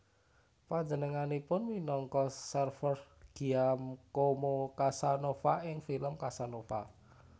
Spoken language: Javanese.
Panjenenganipun minangka serves Giacomo Casanova ing film Casanova